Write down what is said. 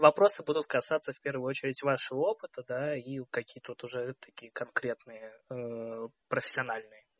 вопросы будут касаться в первую очередь вашего опыта да и какие тут уже такие конкретные профессиональные